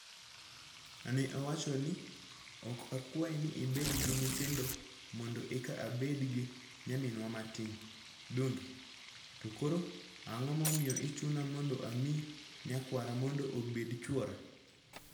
Ne awacho ni, 'Ok akwayi ni ibed gi nyithindo mondo eka abed gi nyaminwa matin, donge? To koro, ang'o momiyo ichuna mondo amiyi nyakwara mondo obed chwora?